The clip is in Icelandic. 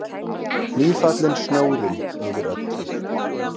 Nýfallinn snjórinn yfir öllu.